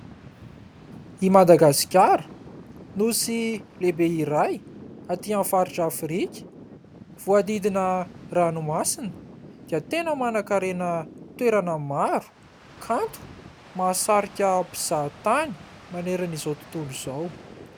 I Madagasikara, nosy lehibe iray aty amin'ny faritra Afrika. Voadidina ranomasina ka tena manan-karena toerana maro, kanto, mahasarika mpizahatany manerana izao tontolo izao.